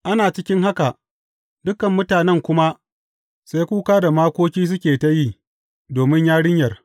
Ana cikin haka, dukan mutanen kuma sai kuka da makoki suke ta yi, domin yarinyar.